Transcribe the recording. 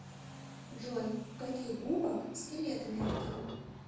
джой у каких губок скелеты мягкие